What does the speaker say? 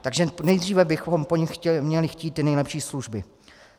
Takže nejdříve bychom po nich měli chtít ty nejlepší služby.